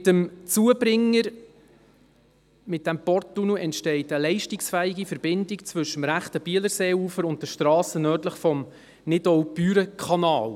Mit dem Zubringer – mit dem Porttunnel – entsteht eine leistungsfähige Verbindung zwischen dem rechten Bielerseeufer und der Strasse nördlich des Nidau-Büren-Kanals.